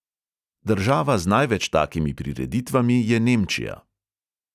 Država z največ takimi prireditvami je nemčija.